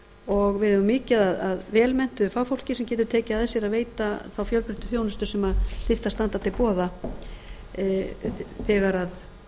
og við eigum mikið af vel menntuðu fagfólki sem getur tekið að sér að veita þá fjölbreyttu þjónustu sem þyrfti að standa til boða þegar